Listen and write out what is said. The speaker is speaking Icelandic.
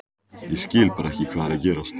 Ég skil bara ekki hvað er að gerast.